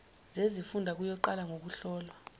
zezifunda kuyoqala ngokuhlolwa